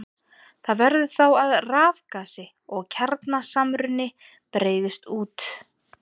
Það verður þá að rafgasi og kjarnasamruni breiðist út.